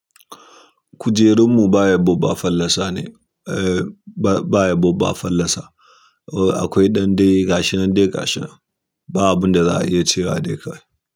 Kujerunmu ba ya bubba fallasa ne, eh ba ya bubba fallasa. Akwai dan dai gashi nan dai gashi nan ba abunda za'a iya cewa de kawai.